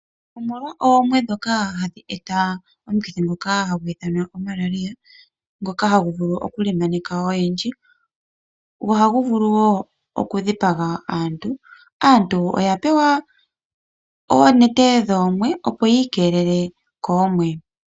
Omolwa oomwe ndhoka hadhi eta omukithi ngoka hagu ithanwa Mararia ngoka hagu vulu oku lemaneka oyendji go ahagu vulu woo oku dhipaga aantu. Aantu oya pewa oonete dhoomwe opo yiikelele koomwe.